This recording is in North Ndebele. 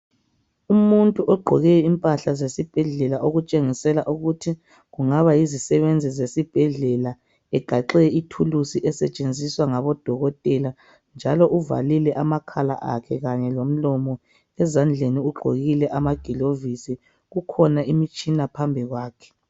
Umuthi ogqoke impahla zesibhedlela okutshengisela ukuthi kungaba yizisebenzi zesibhedlela, egaxe ithuluzi esetshenziswa ngabodokotela njalo uvalile amakhala akhe kanye lomlomo. Ezandleni ugqokile amagilovisi. Kukhona imitshina phambi kwakhe.